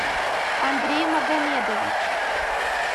андрей магомедович